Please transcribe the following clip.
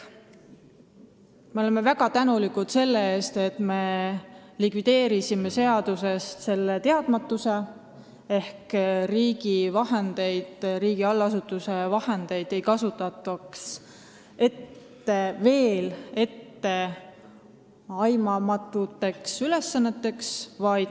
Me oleme väga tänulikud selle eest, et me likvideerisime seadusest selle teadmatuse: riigi allasutuse vahendeid ei kasutata enam etteaimamatute ülesannete täitmiseks.